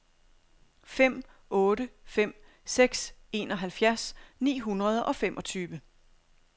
fem otte fem seks enoghalvfjerds ni hundrede og femogtyve